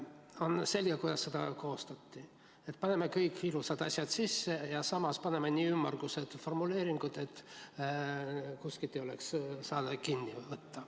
On selge, kuidas seda koostati: et paneme kõik ilusad asjad sisse ja samas paneme kirja nii ümmargused formuleeringud, et kuskilt ei saaks kinni võtta.